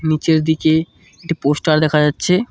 নীচের দিকে একটি পোস্টার দেখা যাচ্ছে।